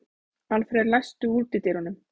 Alfred, læstu útidyrunum.